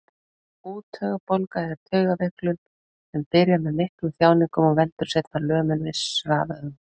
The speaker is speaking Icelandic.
Úttaugabólga er taugaveiklun sem byrjar með miklum þjáningum og veldur seinna lömun vissra vöðva.